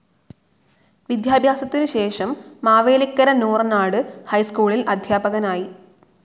വിദ്യാഭ്യാസത്തിനുശേഷം മാവേലിക്കര നൂറനാട്‌ ഹൈസ്‌കൂളിൽ അധ്യാപകനായി.